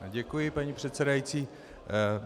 Děkuji, paní předsedající.